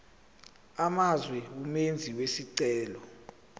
amazwe umenzi wesicelo